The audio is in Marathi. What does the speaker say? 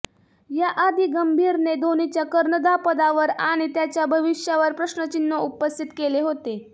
याआधी गंभीरने धोनीच्या कर्णधापदावर आणि त्याच्या भविष्यावर प्रश्नचिन्ह उपस्थित केले होते